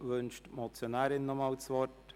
Wünscht die Motionärin erneut das Wort?